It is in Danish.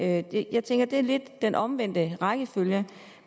at det er lidt den omvendte rækkefølge